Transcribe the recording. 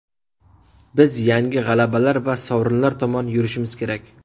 Biz yangi g‘alabalar va sovrinlar tomon yurishimiz kerak.